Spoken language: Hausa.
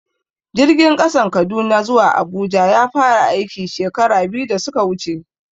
Jirgin ƙasan Kaduna zuwa Abuja ya fara aiki, shekara biyu da suka wuce.